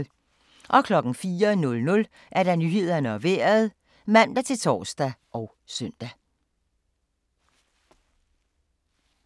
04:00: Nyhederne og Vejret (man-tor og søn)